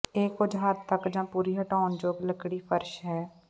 ਇਹ ਕੁਝ ਹੱਦ ਤੱਕ ਜ ਪੂਰੀ ਹਟਾਉਣਯੋਗ ਲੱਕੜੀ ਫਰਸ਼ ਹੈ